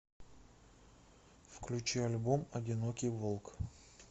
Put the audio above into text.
включи альбом одинокий волк